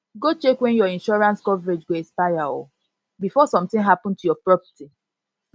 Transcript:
go check when your insurance coverage go expire o before sometin happen to your property